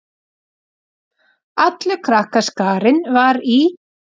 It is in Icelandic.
Allur krakkaskarinn var í